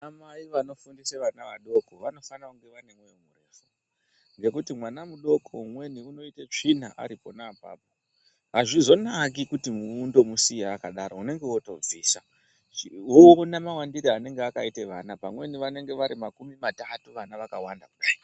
Ana mai vanofundisa vana vadoko vanofana kunge vane nekuti vana mudoko umweni vanoita tsvina aripona apapo azvizonaki kuti muntu umusiye akadaro unonga wobvisa Wona mawandiro anenge akaita vana vamweni vanenge vari makumi matatu vakawanda.